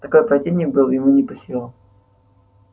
такой противник был ему не по силам